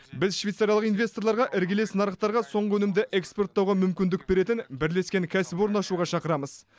біз швейцариялық инвесторларға іргелес нарықтарға соңғы өнімді экспорттауға мүмкіндік беретін бірлескен кәсіпорын ашуға шақырамыз